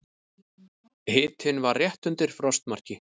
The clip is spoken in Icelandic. Hitinn var rétt undir frostmarki.